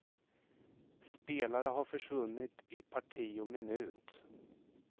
Spelare har försvunnit i parti och minut.